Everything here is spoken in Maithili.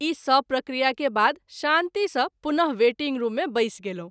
ई सभ प्रक्रिया के बाद शान्ति सँ पुन: वेटिंग रूम मे बैस गेलहुँ।